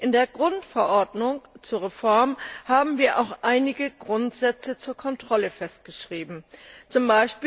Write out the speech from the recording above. In der Grundverordnung zur Reform haben wir auch einige Grundsätze zur Kontrolle festgeschrieben, z.